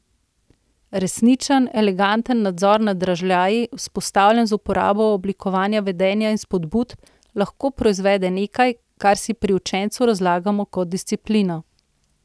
Resničen, eleganten nadzor nad dražljaji, vzpostavljen z uporabo oblikovanja vedenja in spodbud, lahko proizvede nekaj, kar si pri učencu razlagamo kot disciplino.